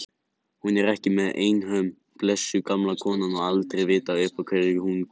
Hún er ekki einhöm, blessuð gamla konan, og aldrei að vita uppá hverju hún tekur.